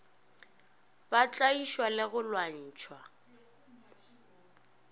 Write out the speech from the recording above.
ba tlaišwa le go lwantšhwa